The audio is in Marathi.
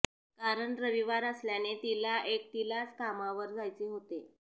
कारण रविवार असल्याने तिला एकटीलाच कामावर जायचे होते